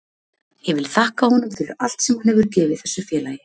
Ég vil þakka honum fyrir allt sem hann hefur gefið þessu félagi.